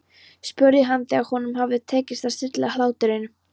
spurði hann þegar honum hafði tekist að stilla hláturinn.